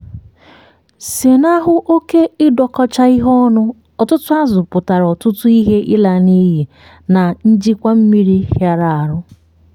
zenahụ oke ịdọkọcha ihe ọnụ - ọtụtụ azụ̀ pụtara ọtụtụ™ ihe ịla n’iyi na njikwa mmiri hịara ahụ.